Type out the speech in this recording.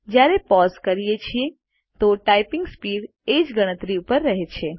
જયારે પોઝ કરીએ છીએ તો ટાઈપીંગ સ્પીડ એ જ ગણતરી ઉપર રહે છે